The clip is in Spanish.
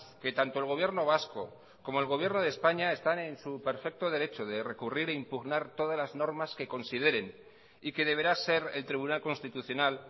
que tanto el gobierno vasco como el gobierno de españa están en su perfecto derecho de recurrir e impugnar todas las normas que consideren y que deberá ser el tribunal constitucional